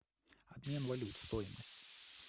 обмен валют стоимость